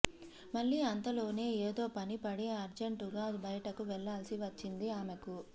మళ్లీ అంతలోనే ఏదో పని పడి అర్జంటుగా బయటకు వెళ్లాల్సి వచ్చింది ఆమెకు